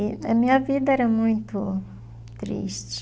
E a minha vida era muito triste.